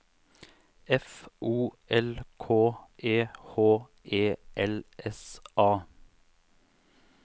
F O L K E H E L S A